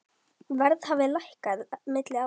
Verð hafi lækkað milli ára.